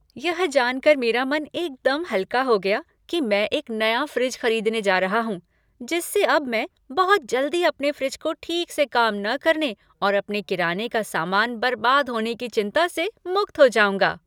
यह जान कर मेरा मन एकदम हल्का हो गया कि मैं एक नया फ़्रिज खरीदने जा रहा हूँ जिससे अब मैं बहुत जल्दी अपने फ्रिज के ठीक से काम न करने और अपने किराने का सामान बर्बाद होने की चिंता से मुक्त हो जाऊँगा।